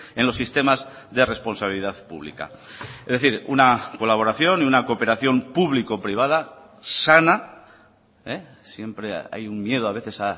en los sistemas de responsabilidad pública es decir una colaboración y una cooperación público privada sana siempre hay un miedo a veces